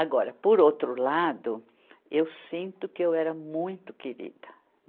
Agora, por outro lado, eu sinto que eu era muito querida.